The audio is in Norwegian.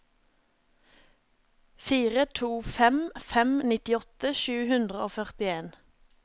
fire to fem fem nittiåtte sju hundre og førtien